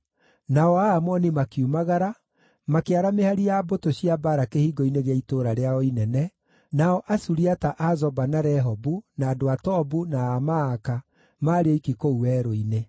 Nao Aamoni makiumagara, makĩara mĩhari ya mbũtũ cia mbaara kĩhingo-inĩ gĩa itũũra rĩao inene, nao Asuriata a Zoba na Rehobu, na andũ a Tobu na a Maaka maarĩ oiki kũu werũ-inĩ.